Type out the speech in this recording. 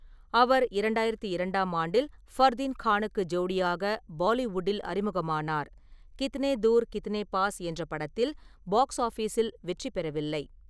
அவர் இரண்டாயிரத்து இரண்டாம் ஆண்டில் ஃபர்தீன் கானுக்கு ஜோடியாக பாலிவுட்டில் அறிமுகமானார், கித்னே தூர் கித்னே பாஸ் என்ற படத்தில் பாக்ஸ் ஆபிஸில் வெற்றி பெறவில்லை.